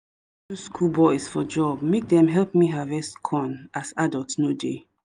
we miss the rain wen dey quick fall as we no get enough workers to help us till ground